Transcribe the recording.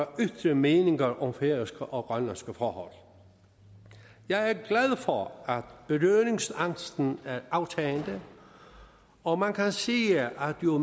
at ytre meninger om færøske og grønlandske forhold jeg er glad for at berøringsangsten er i aftagende og man kan sige at jo